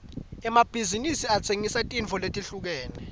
emabhizinsi atsengisa tintfo letehlukene